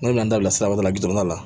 N'u bɛ na n'a bila siraba la la